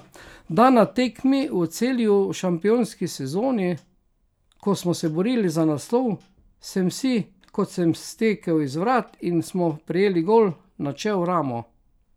Da, na tekmi v Celju v šampionski sezoni, ko smo se borili za naslov, sem si, ko sem stekel iz vrat in smo prejeli gol, načel ramo.